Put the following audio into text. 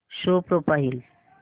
show profile